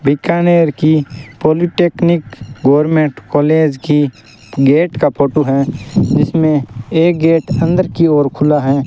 बीकानेर की polytechnic government college की gate का फोटो है जिसमें एक गेट अंदर की ओर खुला है।